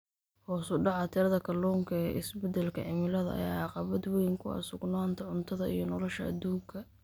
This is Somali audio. Hoos u dhaca tirada kalluunka ee isbedelka cimilada ayaa caqabad weyn ku ah sugnaanta cuntada iyo nolosha adduunka.